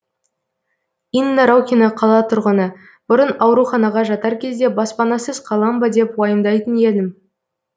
инна рокина қала тұрғыны бұрын ауруханаға жатар кезде баспанасыз қалам ба деп уайымдайтын едім